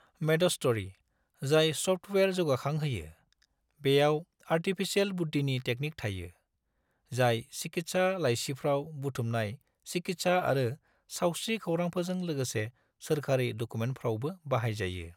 मेडस्ट'री, जाय स'फ्टवेयार जौगाखांहोयो, बेयाव आर्टिफिसियेल बुद्दिनि टेकनिक थायो, जाय चिकित्सा लाइसिफ्राव बुथुमनाय चिकित्सा आरो सावस्रि खौरांफोरजों लोगोसे सोरखारि डकुमेन्टफ्रावबो बाहायजायो।